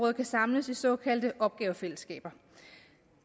kan samles i såkaldte opgavefællesskaber